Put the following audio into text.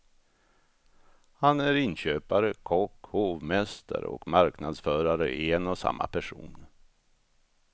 Han är inköpare, kock, hovmästare och marknadsförare i en och samma person.